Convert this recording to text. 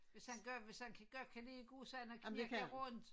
Hvis han godt hvis kan godt kan lide at gå sådan og knirke rundt